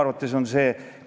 Praktiliselt nullilähedane.